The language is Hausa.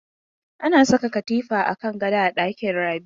Ana saka katifa a kan gado a dakin Rabi.